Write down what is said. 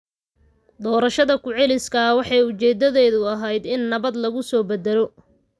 Doorashada ku celiska ah waxay ujeedadeedu ahayd in nabad lagu soo dabaalo.